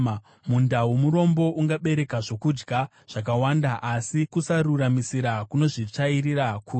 Munda womurombo ungabereka zvokudya zvakawanda, asi kusaruramisira kunozvitsvairira kure.